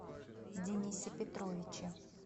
денисе петровиче